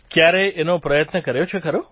કયારેય એનો પ્રયત્ન કર્યો છે ખરો